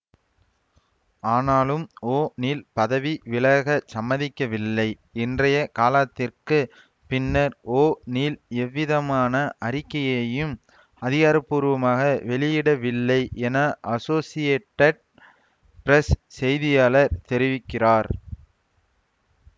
ஆனாலும் ஓநீல் பதவி விலகச் சம்மதிக்கவில்லை இன்றைய காலாத்திற்குப் பின்னர் ஓநீல் எவ்விதமான அறிக்கையையும் அதிகாரபூர்வமாக வெளியிடவில்லை என அசோசியேட்டட் பிரஸ் செய்தியாளர் தெரிவிக்கிறார்